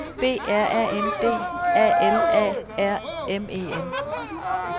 B R A N D A L A R M E N